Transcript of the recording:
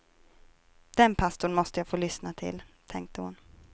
Den pastorn måste jag få lyssna till, tänkte hon.